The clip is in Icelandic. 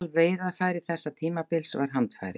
Aðalveiðarfæri þessa tímabils var handfæri.